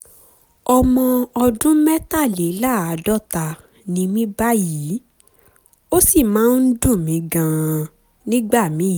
ọmọ ọdún mẹ́tàléláàádọ́ta ni mí báyìí ó sì máa ń dùn mí gan-an nígbà míì